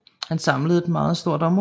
Han samlede et meget stort område